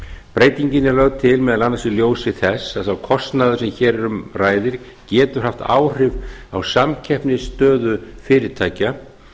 breytingin er lög til meðal annars í ljósi þess að sá kostnaður sem hér um ræðir getur haft áhrif á samkeppnisstöðu fyrirtækja